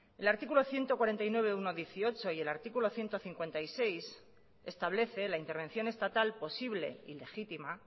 el artículo ciento cuarenta y nueve punto uno punto dieciocho y el artículo ciento cincuenta y seis establece la intervención estatal posible y legitima